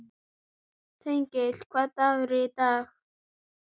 Þengill, hvaða dagur er í dag?